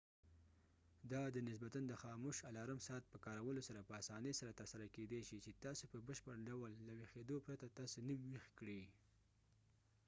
دا د نسبتاََ د خاموش الارم ساعت په کارولو سره په اسانۍ سره ترسره کیدې شي چې تاسو په بشپړ ډول له ویښيدو پرته تاسو نيم ويښ کړي